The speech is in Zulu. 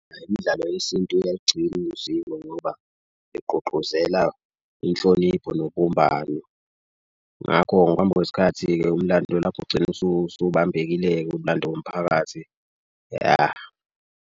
Imdlalo yesintu uyalugcina usiko ngoba igqugquzela inhlonipho nobumbano. Ngakho ngokuhamba kwesikhathi-ke umlando lapho ugcina usubambekile-ke umlando womphakathi yah.